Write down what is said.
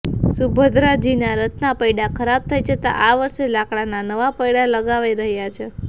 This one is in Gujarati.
સુભદ્રાજીના રથના પૈડા ખરાબ થઈ જતા આ વર્ષે લાકડાના નવા પૈડા લગાવાઈ રહ્યા છે